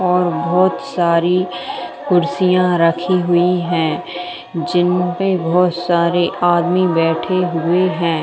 और बहुत सारी कुर्सियां रखी हुई है जिन पे बहुत सारे आदमी बैठे हुए हैं।